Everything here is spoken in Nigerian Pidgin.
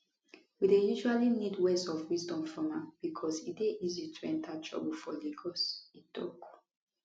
we usually need words of wisdom from am becos e dey easy to enter trouble for lagos e tok